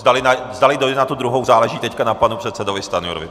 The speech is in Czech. Zdali dojde na tu druhou, záleží teď na panu předsedovi Stanjurovi.